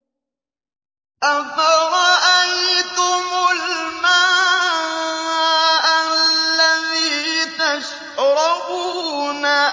أَفَرَأَيْتُمُ الْمَاءَ الَّذِي تَشْرَبُونَ